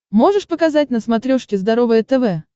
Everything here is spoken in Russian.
можешь показать на смотрешке здоровое тв